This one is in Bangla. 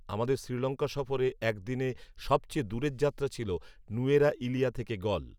আমাদের শ্রীলঙ্কা সফরে একদিনে সবচেয়ে দূরের যাত্রা ছিল নূয়েরা ইলিয়া থেকে গল